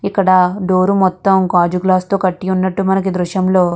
ఇక్కడ డోర్ మొత్తం గాజు గ్లాస్ తో కట్టి ఉన్నట్టు మనకు ఈ దృశ్యం లో --